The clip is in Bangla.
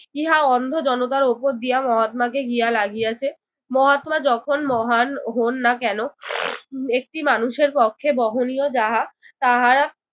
ইহা অন্ধ জনতার উপর দিয়া মহাত্মাকে গিয়া লাগিয়াছে। মহাত্মা যখন মহান হোন না কেন একটি মানুষের পক্ষে বহনীয় যাহা তাহারা